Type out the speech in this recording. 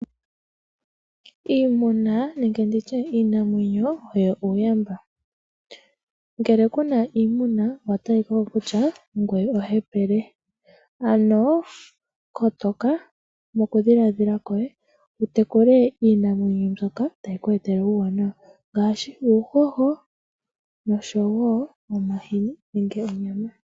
Iimuna nenge nditye iinamwenyo oyo uuyamba. Ngele kuna iimuna, nena owatalika ko kutya ngoye ohepele. Ano kotoka mokudhiladhila kwoye, wutekule iinamwenyo mbyoka tayi ku etele uuwanawa. Ngaashi uuhoho, omahini, noshowo onyama.